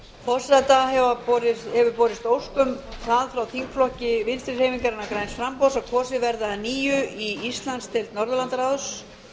forseta hefur borist ósk frá þingflokki vinstri hreyfingarinnar græns framboðs um að kosið verði að nýju í íslandsdeild norðurlandaráðs